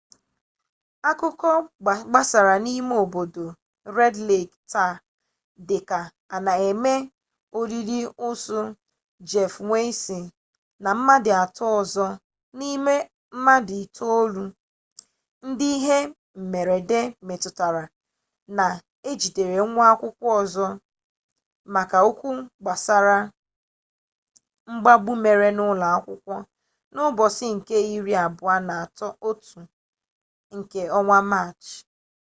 akụkọ gbasara n'ime obodo red lek taa dịka a na eme olili ozu jeff weise na mmadụ atọ ọzọ n'ime mmadụ itolu ndị ihe mmerede metụtara na ejidere nwa akwụkwọ ọzọ maka okwu gbasara mgbagbu mere n'ụlọ akwụkwọ n'ụbọchị nke iri abụọ na otu nke ọnwa maachị